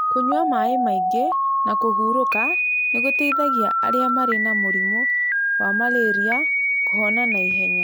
Kũnyua maĩ maingĩ na kũhurũka nĩ gũteithagia arĩa marĩ na mũrimũ wa malaria kũhona na ihenya.